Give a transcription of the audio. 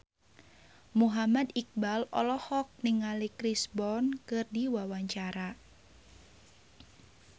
Muhammad Iqbal olohok ningali Chris Brown keur diwawancara